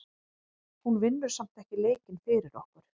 Hún vinnur samt ekki leikinn fyrir okkur.